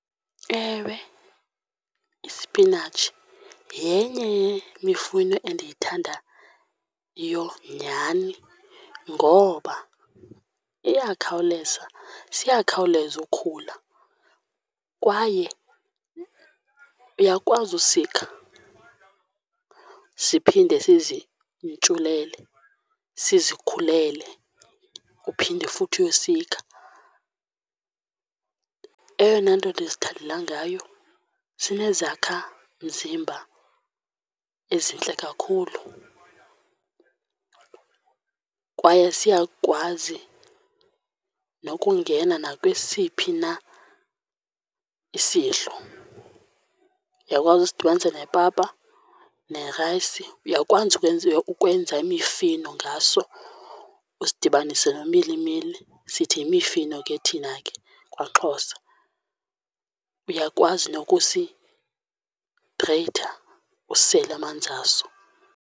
Ewe, isipinatshi yenye yemifuno endiyithandayo nyhani ngoba iyakhawuleza, siyakhawuleza ukhula kwaye uyakwazi usikha siphinde zizintshulele, sizikhulele uphinde futhi uyosikha. Eyona nto ndizithandela ngayo, sinezakhamzimba ezintle kakhulu kwaye siyakwazi nokungena nakwesiphi na isidlo. Uyakwazi usidibanise nepapa nerayisi uyakwazi ukwenza imifino ngaso usidibanise nomilimili sithi yimifino ke thina ke kwaXhosa. Uyakwazi nokusigreyitha usele amanzi aso.